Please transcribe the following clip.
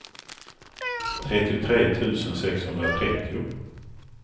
trettiotre tusen sexhundratrettio